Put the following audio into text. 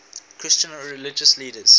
christian religious leaders